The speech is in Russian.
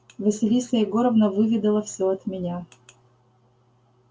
василиса егоровна выведала все от меня